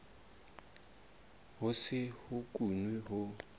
ho se ho kenwe ho